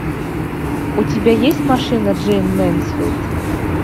у тебя есть машина джейн мэнсфилд